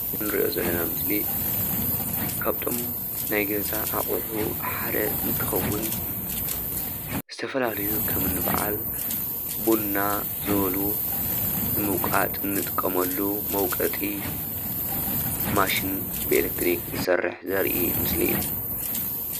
እዚ እንሪኦ ዘለና ምስሊ ካብ እቶ ናይ ገዛ ኣቁሑ ሓደ እንትከውን ዝተፈላለዩ ከምኒ በዓል ቡና ዝበሉ ንምውቃጥ እንጥቀመሉ መውቀጢ ማሽን ብኤሌትሪክ ዝሰርሕ ዘርኢ ምስሊ እዩ፡፡